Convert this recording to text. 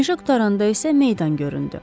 Meşə qurtaranda isə meydan göründü.